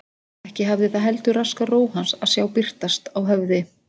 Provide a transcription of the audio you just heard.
Ekki hafði það heldur raskað ró hans að sjá birtast á höfði